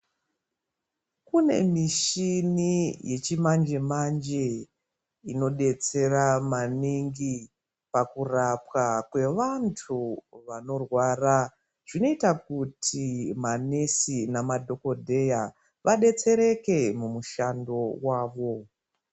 Kune mishini yechimanje manje inodetsera maningi pakurapwa kweantu vanorwara zvinoita kuti manesi nemadhokodheya vadetsereke mumushando mwavo.